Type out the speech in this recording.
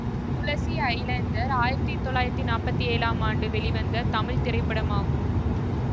துளசி ஜலந்தர் ஆயிரத்தி தொள்ளாயிரத்தி நாப்பத்தி ஏழாம் ஆண்டு வெளிவந்த தமிழ் திரைப்படமாகும்